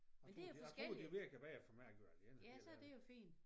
Jeg tror det jeg tror det virker bedre for mig at gøre alene helt ærligt